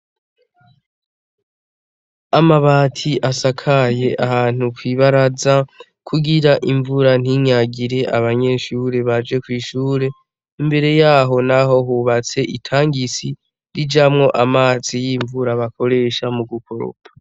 Amabati asakaye ahantu kwibaraza kugira imvura ntinyagire abanyeshure baje kw'ishure. Imbere yaho naho hubatse itangi rijamwo amazi y'imvura bakoresha mu gukoropa.